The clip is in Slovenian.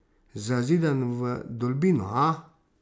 Zazidan v vdolbino, a?